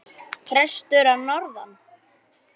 Prestur að norðan!